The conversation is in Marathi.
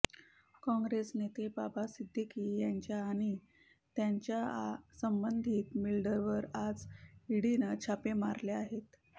काँग्रेस नेते बाबा सिद्दीकी यांच्या आणि त्यांच्या संबंधित बिल्डरवर आज ईडीनं छापे मारले आहेत